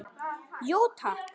Jú takk!